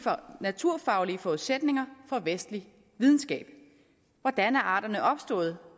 naturfaglige forudsætninger for vestlig videnskab hvordan er arterne opstået